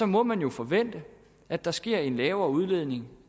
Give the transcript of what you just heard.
må man jo forvente at der sker en lavere udledning